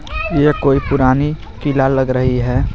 यह कोई पुरानी किला लग रही है.